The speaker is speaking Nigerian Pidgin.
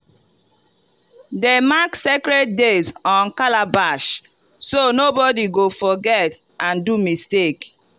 them mark sacred days on calabash so nobody go forget and do mistake.